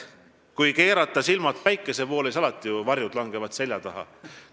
Kui keerata silmad päikese poole, siis langevad varjud alati selja taha.